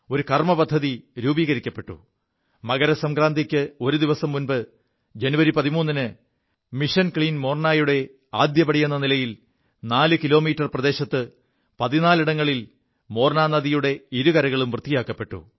ഒരു കർമ്മപദ്ധതി രൂപീകരിക്കപ്പെു മകരസംക്രാന്തിക്ക് ഒരു ദിവസം മുമ്പ് ജനുവരി 13ന് മിഷൻ ക്ലീൻ മോർനാ യുടെ ആദ്യ പടിയെ നിലയിൽ നാലു കിലോമീറ്റർ പ്രദേശത്ത് പതിനാലിടങ്ങളിൽ മോർനാനദിയുടെ ഇരുകരകളും വൃത്തിയാക്കപ്പെു